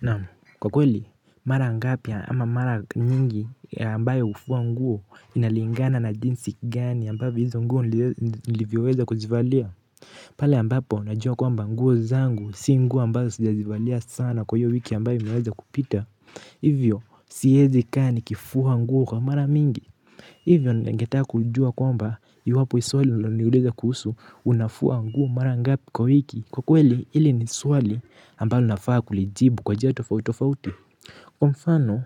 Naam kwa kweli mara ngapi ama mara nyingi ambayo hufua nguo inalingana na jinsi gani ambavyo hizo nguo nilivyoweza kujivalia. Pale ambapo najua kwamba nguo zangu si nguo ambazo sijazivalia sana kwa hiyo wiki ambayo imeweza kupita. Hivyo siezi kaa nikifua nguo kwa mara mingi. Hivyo ningetaka kujua kwamba iwapo hii swali ulilo niuliza kuhusu unafua nguo marangapi kwa wiki. Kwa kweli hili ni swali ambalo nafaa kulijibu kwa njia tofautofauti. Kwa mfano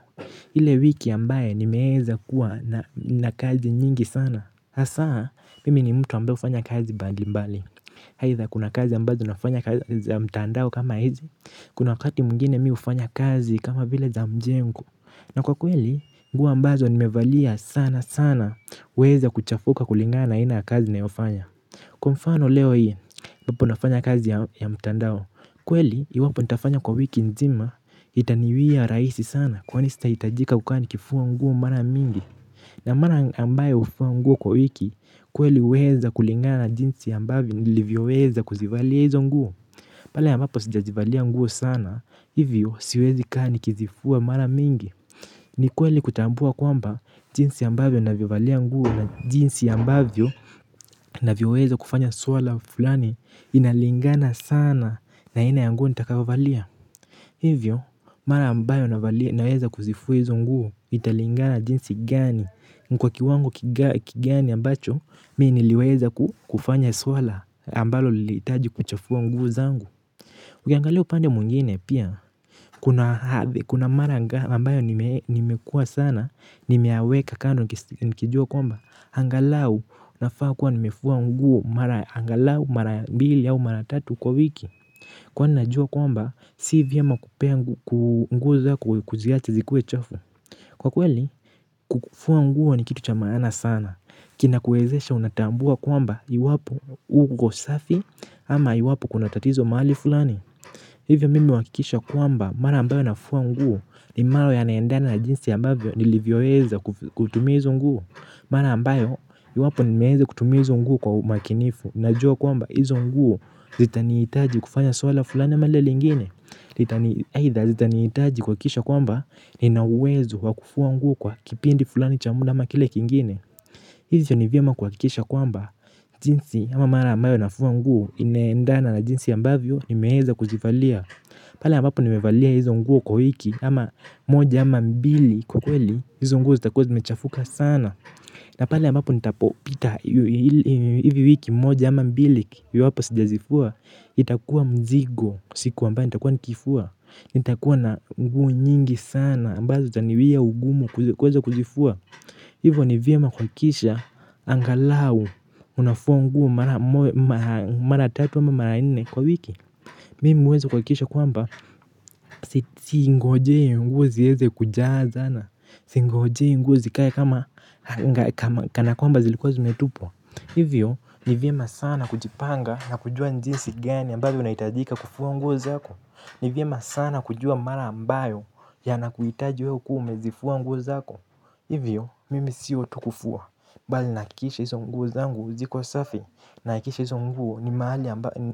hile wiki ambaye nimeweza kuwa na kazi nyingi sana hasaa mimi ni mtu ambaye hufanya kazi mbali mbali aidha kuna kazi ambazo nafanya kazi ya mtandao kama hizi. Kuna wakati mwingine mi hufanya kazi kama vile za mjengo. Na kwa kweli, nguo ambazo nimevalia sana sana huweza kuchafuka kulingana na aina ya kazi nayofanya. Kwa mfano leo hii, iwapo nafanya kazi ya mtandao. Kweli, iwapo nitafanya kwa wiki nzima, itaniwia rahisi sana kwa sitahitajika kukaa nikifua nguo mara mingi. Na mara ambayo hufua nguo kwa wiki, kweli uweza kulingana jinsi ambavyo nilivyoweza kuzivalia hizo nguo. Pale ambapo sijajivalia nguo sana, hivyo siwezi kaa nikizifua mara mingi. Ni kweli kutambua kwamba jinsi ambavyo navovalia nguo na jinsi ambavyo navyoweza kufanya swala fulani inalingana sana na aina ya nguo nitakayo valia. Hivyo, mara ambayo naeza kuzifua izo nguo italingana na jinsi gani ni kwa kiwango kigani ambacho mi niliweza kufanya swala ambalo lilihitaji kuchafua nguo zangu. Ukiangalia upande mwingine pia kuna mara ambayo nimekua sana nimeyaweka kando nikijua kwamba angalau nafaa kuwa nimefua nguo mara angalau mara mbili au mara tatu kwa wiki. Kwani najua kwamba si vyema kupea nguo zako kuziacha zikue chafu. Kwa kweli kufua nguo ni kitu cha maana sana. Kinakuezesha unatambua kwamba iwapo nguo safi ama iwapo kuna tatizo maali fulani. Hivyo mimi huakikisha kwamba mara ambayo nafua nguo ni mara yanaendana na jinsi ya ambavyo nilivyoweza kutumia izo nguo. Mara ambayo iwapo nimeweza kutumia izo nguo kwa umakinifu. Najua kwamba hizo nguo zitaniitaji kufanya swala fulani ama lile lingine Either zitaniitaji kuhakikisha kwamba nina uwezo wa kufua nguo kwa kipindi fulani cha muda ama kile kingine. Hivyo ni vyema kuhakikisha kwamba jinsi ama mara ambayo nafua nguo inaendana na jinsi ambavyo nimeweza kuzivalia. Pale ambapo nimevalia hizo nguo kwa wiki ama moja ama mbili kwa kweli hizo nguo zitakuwa zimechafuka sana. Na pale ambapo nitapopita hivi wiki moja ama mbili iwapo sijazifua itakuwa mzigo siku ambayo nitakuwa nikifua. Nitakuwa na nguo nyingi sana ambazo zitaniwia ugumu kuweza kuzifua. Hivo ni vyema kuhakikisha angalau unafua nguo mara tatu wa mara nne kwa wiki. Mimi huweza kuhakikisha kwamba singojei nguo ziweze kujazana. Singojei nguo zikae kana kwamba zilikuwa zimetupwa. Hivyo ni vyema sana kujipanga na kujua jinsi gani ambavyo unahitajika kufua nguo zako. Ni vyema sana kujua mara ambayo yanakuitaji we ukuwe umezifua nguo zako. Hivyo mimi sio tu kufua mbali nahakikisha hizo nguo zangu ziko safi nahakikisha hizo nguo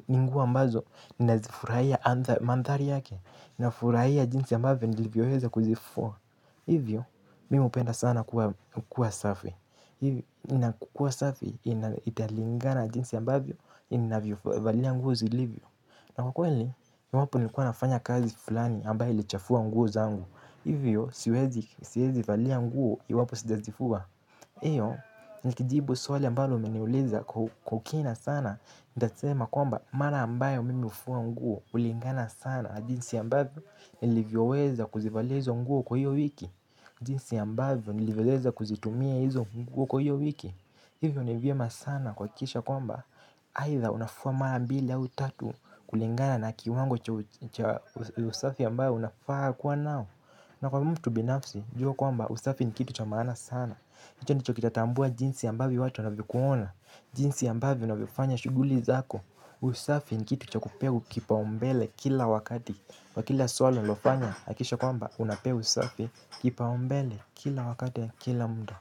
ni nguo ambazo nafurahia mandhari yake nafurahia jinsi ambavyo nilivyoweza kuzifua hivyo mimi hupenda sana kuwa safi hivyo inakukua safi italingana jinsi ambavyo ninavyovalia nguo zilivyo na kwa kweli iwapo nilikuwa nafanya kazi fulani ambayo ilichafua nguo zangu hivyo siwezi valia nguo iwapo sijazifua. Iyo, nikijibu swali ambalo umeniuliza kwa kina sana nitasema kwamba, mara ambayo mimi hufua nguo ulingana sana na jinsi ambavyo nilivyoweza kuzivalia izo nguo kwa hiyo wiki. Jinsi ambayo nilivyoweza kuzitumia hizo nguo kwa hiyo wiki. Hivyo ni vyema sana kuhakikisha kwamba aidha unafua mara mbili au tatu kulingana na kiwango cha usafi ambayo unafaa kuwa nao. Na kwa mtu binafsi, jua kwamba usafi ni kitu cha maana sana hicho ndicho kitatambua jinsi ambavyo watu wanavyokuona. Jinsi ambavyo unavyofanya shuguli zako. Usafi ni kitu cha kupewa kipaumbele kila wakati kwa kila swala unalofanya hakikisha kwamba unapewa usafi kipaumbele kila wakati ya kila muda.